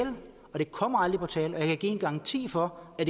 det kommer aldrig på tale og jeg kan give en garanti for at